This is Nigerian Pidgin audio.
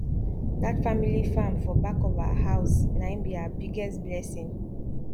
dat family farm for back of our house nai b our biggest blessing